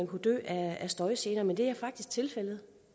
kunne dø af støjgener men det er faktisk tilfældet